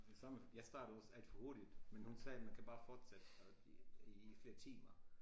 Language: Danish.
Det samme jeg startede også alt for hurtigt men hun sagde man kan bare fortsætte i flere timer